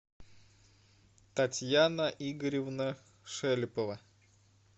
татьяна игоревна шелепова